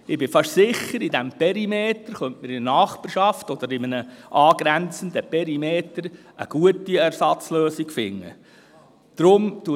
Ich bin fast sicher, dass man in diesem Perimeter, in seiner Nachbarschaft oder in einem angrenzenden Perimeter eine gute Ersatzlösung finden könnte.